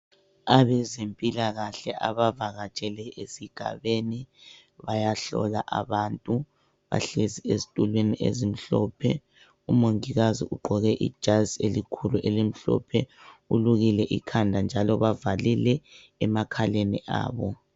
Abezempilakahle abavakatshele esigabeni bayahlola abantu. Bahlezi ezitulweni ezimhlophe. Umongikazi ugqoke ijazi elikhulu elimhlophe ulukile ikhanda njalo bavalile emakhaleni abo.